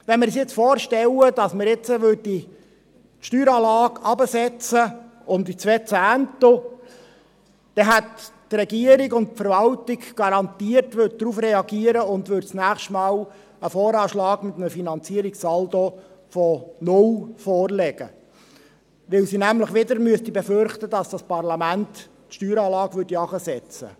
Wenn wir uns jetzt vorstellen, dass wir die Steueranlage um die genannten zwei Zehntel herabsetzen, dann würden die Regierung und die Verwaltung garantiert darauf reagieren und nächstes Mal einen VA mit einem Finanzierungssaldo von 0 vorlegen, weil sie wieder befürchten müssten, dass das Parlament die Steueranlage herabsetzt.